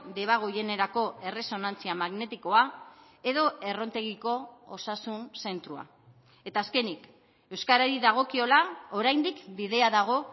deba goienerako erresonantzia magnetikoa edo errontegiko osasun zentroa eta azkenik euskarari dagokiola oraindik bidea dago